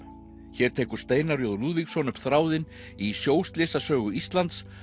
hér tekur Steinar j Lúðvíksson upp þráðinn í sjóslysasögu Íslands